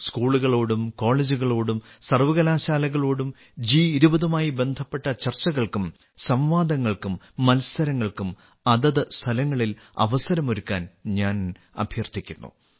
സ്കൂളുകളോടും കോളേജുകളോടും സർവ്വകലാശാലകളോടും ജി20 യുമായി ബന്ധപ്പെട്ട ചർച്ചകൾക്കും സംവാദങ്ങൾക്കും മത്സരങ്ങൾക്കും അതത് സ്ഥലങ്ങളിൽ അവസരമൊരുക്കാൻ ഞാൻ അഭ്യർത്ഥിക്കുന്നു